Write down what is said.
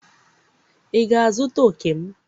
ị ga-azụta òkè m?